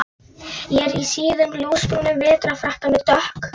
Ég er í síðum ljósbrúnum vetrarfrakka með dökk